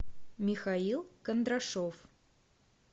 михаил кондрашов